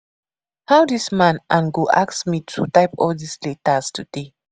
How dis man an go ask me to type all dis letters today?